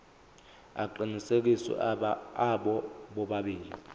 aqinisekisiwe abo bobabili